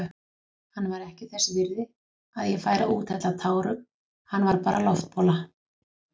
Hann var ekki þess virði að ég færi að úthella tárum, hann var bara loftbóla.